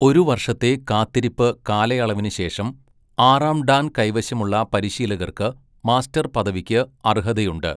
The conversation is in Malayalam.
ഒരു വർഷത്തെ കാത്തിരിപ്പ് കാലയളവിനുശേഷം, ആറാം ഡാൻ കൈവശമുള്ള പരിശീലകർക്ക് മാസ്റ്റർ പദവിക്ക് അർഹതയുണ്ട്..